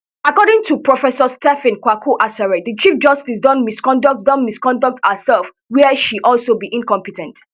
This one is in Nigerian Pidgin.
according to professor stephen kwaku asare di chief justice don misconduct don misconduct herserf wia she also be incompe ten t